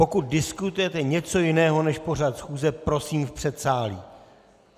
Pokud diskutujete něco jiného než pořad schůze, prosím v předsálí.